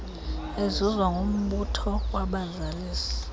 ezuzwa kumbutho wabazalisi